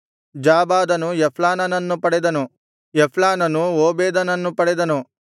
ಜಾಬಾದನು ಎಫ್ಲಾಲನನ್ನು ಪಡೆದನು ಎಫ್ಲಾಲನು ಓಬೇದನನ್ನು ಪಡೆದನು